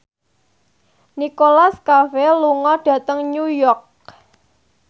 Nicholas Cafe lunga dhateng New York